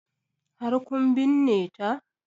Har kun binne ta?